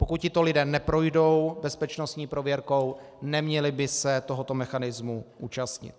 Pokud tito lidé neprojdou bezpečnostní prověrkou, neměli by se tohoto mechanismu účastnit.